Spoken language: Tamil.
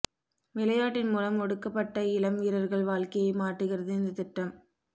விளையாட்டின் மூலம் ஒடுக்கப்பட்ட இளம் வீரா்கள் வாழ்க்கையை மாற்றுகிறது இந்த திட்டம்